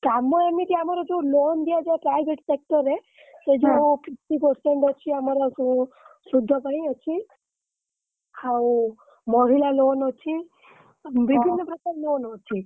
କାମ ଏମିତି ଆମର ଯୋଉ loan ଦିଆଯାଏ private sector ରେ ସେ ଯୋଉ fifty percent ଅଛି ଆମର ସୁଧ ପାଇଁ ଅଛି ଆଉ ମହିଳା loan ଅଛି ବିଭିନ ପ୍ରକାର loan ଅଛି ଗୋଟେ ଦିନରେ ହେଇଯିବ ମହିଳା loan ତ।